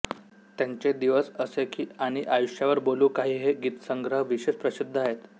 त्यांचे दिवस असे की आणि आयुष्यावर बोलू काही हे गीतसंग्रह विशेष प्रसिद्ध आहेत